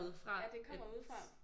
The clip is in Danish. Ja det kommer udefra